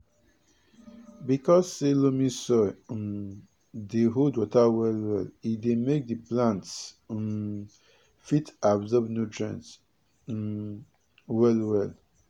because say loamy soil um dey hold water well e dey make the plants um fit absorb nutrients um well well